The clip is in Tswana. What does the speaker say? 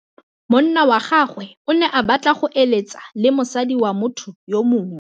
Monna wa gagwe o ne a batla go êlêtsa le mosadi wa motho yo mongwe.